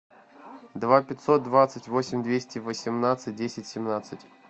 два пятьсот двадцать восемь двести восемнадцать десять семнадцать